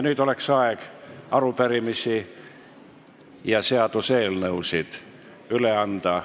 Nüüd on aeg arupärimisi ja seaduseelnõusid üle anda.